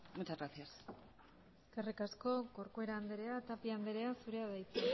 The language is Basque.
muchas gracias eskerrik asko corcuera andrea tapia andrea zurea da hitza